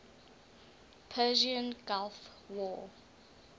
persian gulf war